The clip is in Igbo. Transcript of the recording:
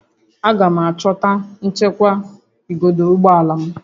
Aga m achọta nchekwa igodo ụgbọ ala m